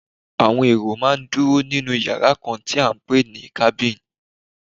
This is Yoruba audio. Àwọn èrò máa ń dúró nínú yàrá kan tí à ń pè ní cabin.